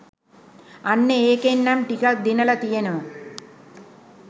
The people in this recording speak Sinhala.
අන්න ඒකෙන් නම් ටිකක් දිනල තියනව